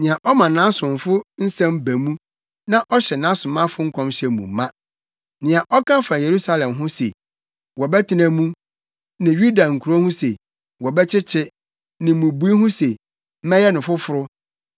nea ɔma nʼasomfo nsɛm ba mu nea ɔhyɛ nʼasomafo nkɔmhyɛ mu ma, “nea ɔka fa Yerusalem ho se, ‘Wɔbɛtena mu,’ ne Yuda nkurow ho se, ‘Wɔbɛkyekye,’ ne mmubui ho se, ‘Mɛyɛ no foforo,’